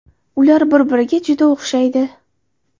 Ular bir-biriga juda o‘xshaydi.